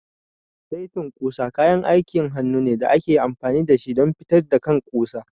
Saitin ƙusa kayan aikin hannu ne da ake amfani da shi don fitar da kan ƙusa.